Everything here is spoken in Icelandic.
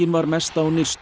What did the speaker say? var mest á nyrstu